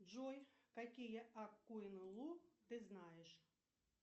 джой какие аккоин лу ты знаешь